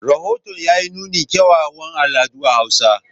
Rahoton ya yi nunin kyawawan al'adun Hausa.